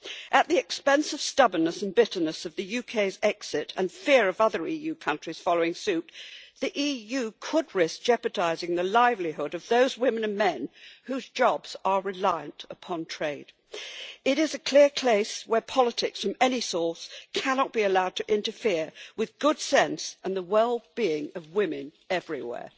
At the expense of stubbornness and bitterness at the UK's exit, and fear of other EU countries following suit, the EU could risk jeopardising the livelihood of those women and men whose jobs are reliant upon trade. It is a clear case where politics from any source cannot be allowed to interfere with good sense and the wellbeing of women everywhere.